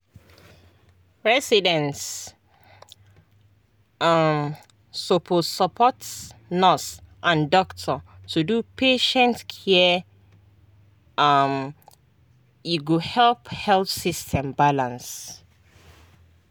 residents um suppose support nurse and doctor to do patient care um e go help health system balance.